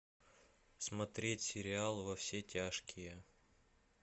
смотреть сериал во все тяжкие